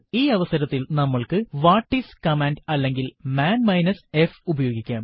ഈ അവസരത്തിൽ നമ്മൾക്ക് വാട്ടിസ് കമാൻഡ് അല്ലെങ്കിൽ മാൻ മൈനസ് f ഉപയോഗിക്കാം